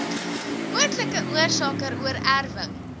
moontlike oorsake oorerwing